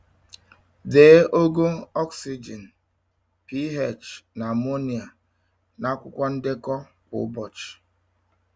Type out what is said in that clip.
Dee ogo oxygen, pH na ammonia n’akwụkwọ ndekọ kwa ụbọchị.